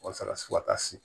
Walasa fo ka taa se